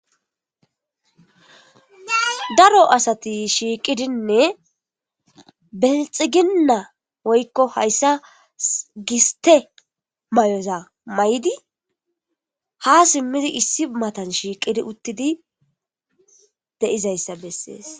Daro asati shiiqidinne belxiginna woykko hayssa giste may'oz' may7d' ha simmidi issi matan shiiqidi uttidi dei'zayssa bessees.